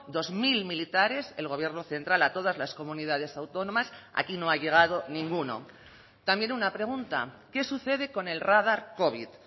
dos mil militares el gobierno central a todas las comunidades autónomas aquí no ha llegado ninguno también una pregunta qué sucede con el radar covid